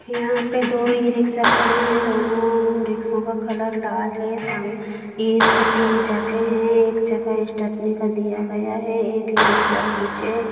यहाँ पर दो ही इ रिक्शा खड़े हैं दोनों रिक्शों का कलर लाल है इस पर तीन चक्के हैं एक चक्का स्टेपनी का दिया गया है एक इ रिक्शा पीछे है।